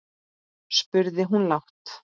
spurði hún lágt.